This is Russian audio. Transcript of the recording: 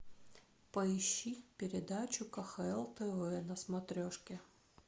поищи передачу кхл тв на смотрешке